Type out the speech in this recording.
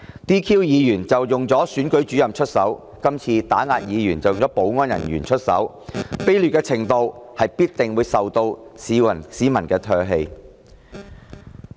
先前利用選舉主任 "DQ" 議員，今次則利用保安人員打壓議員，這種劣行必定會受到市民唾棄。